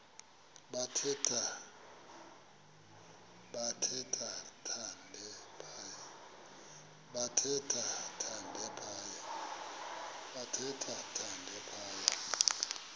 bathe thande phaya